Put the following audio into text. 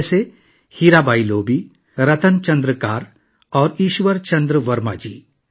جیسے... ہیرا بائی لوبی، رتن چندر کار اور ایشور چندر ورما جی